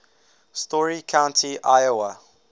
story county iowa